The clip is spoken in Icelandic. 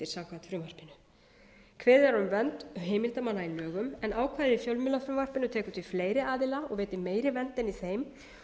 samkvæmt frumvarpinu kveðið er á um vernd heimildarmanna í lögum en ákvæði í fjölmiðlafrumvarpinu tekur til fleiri aðila og veitir meiri vernd en í þeim